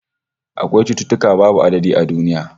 Akwai cututtuka babu adadi a duniya